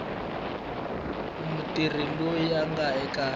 mutirhi loyi a nga eka